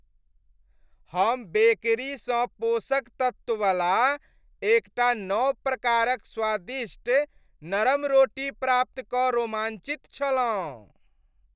हम बेकरीसँ पोषक तत्ववला एकटा नव प्रकारक स्वादिष्ट नरम रोटी प्राप्त कऽ रोमांचित छलहुँ।